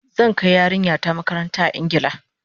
Zan kai yarinya ta makaranta a Ingila